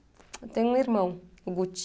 Eu tenho um irmão, o Guti.